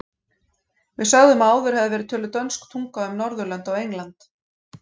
Við sögðum að áður hefði verið töluð dönsk tunga um Norðurlönd og England.